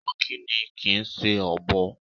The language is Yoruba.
Ìnàkí ni kìí ṣe Ọ̀bọ.